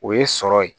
O ye sɔrɔ ye